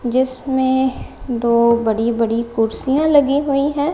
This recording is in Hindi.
जिसमें दो बड़ी बड़ी कुर्सियां लगी हुई है।